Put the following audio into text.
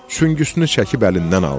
Süngüsünü çəkib əlindən aldı.